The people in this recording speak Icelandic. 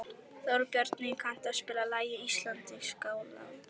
Þórbjarni, kanntu að spila lagið „Íslandsgálgi“?